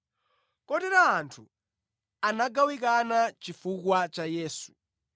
Kotero anthu anagawikana chifukwa cha Yesu.